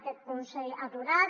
aquest consell aturat